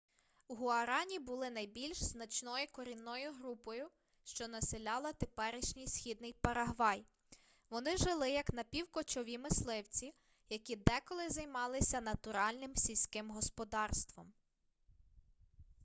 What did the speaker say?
гуарані були найбільш значною корінною групою що населяла теперішній східний парагвай вони жили як напівкочові мисливці які деколи займалися натуральним сільським господарством